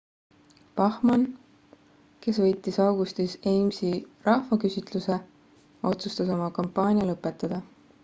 bachmann kes võitis augustis ames'i rahvaküsitluse otsustas oma kampaania lõpetada